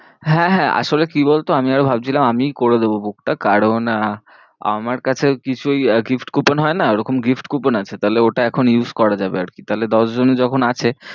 হ্যাঁ, হ্যাঁ আসলে কি বলতো? আমি আরও ভাবছিলাম আমিই করে দেবো book টা কারণ আহ আমার কাছে কিছু ওই আর কি gift coupon হয় না coupon হয় না ওরকম gift coupon আছে তাহলে ওটা এখন use করা যাবে আর কি, তাহলে দশজনই যখন আছে।